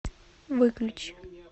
выключи